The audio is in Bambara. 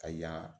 Ka ɲa